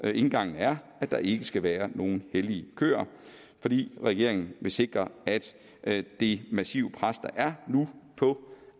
indgangen er at der ikke skal være nogen hellige køer fordi regeringen vil sikre at at det massive pres der er nu på